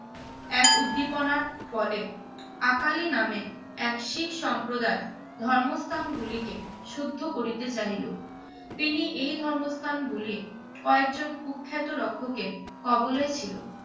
এক উদ্দীপনার ফলে, আকালি নামে এক শিখ সম্প্রদায় ধর্মস্থান গুলিকে শুদ্ধ করিতে চাহিল। তিনি এই ধর্মস্থানগুলির কয়েকজন কুখ্যাত রক্ষকের কবলে ছিল।